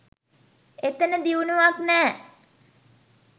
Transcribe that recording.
එතන දියුණුවක් නෑ.